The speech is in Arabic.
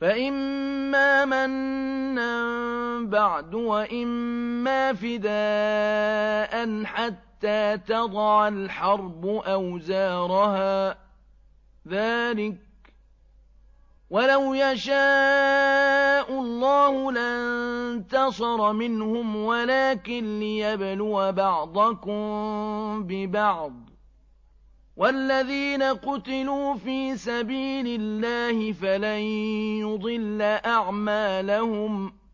فَإِمَّا مَنًّا بَعْدُ وَإِمَّا فِدَاءً حَتَّىٰ تَضَعَ الْحَرْبُ أَوْزَارَهَا ۚ ذَٰلِكَ وَلَوْ يَشَاءُ اللَّهُ لَانتَصَرَ مِنْهُمْ وَلَٰكِن لِّيَبْلُوَ بَعْضَكُم بِبَعْضٍ ۗ وَالَّذِينَ قُتِلُوا فِي سَبِيلِ اللَّهِ فَلَن يُضِلَّ أَعْمَالَهُمْ